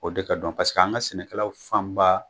O de ka dɔn paseke an ka sɛnɛkɛlaw fanba